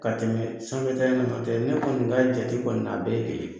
Ka tɛmɛ sanfɛ ta in na , nɔtɛ ne kɔni ka jate kɔni na a bɛɛ ye kelen ye.